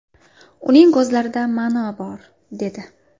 Uning ko‘zlarida ma’no bor”, dedi.